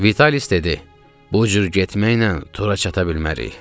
Vitalis dedi: Bu cür getməklə Tura çata bilmərik.